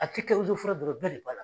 A te kɛ dɔrɔn bɛɛ de b'a la.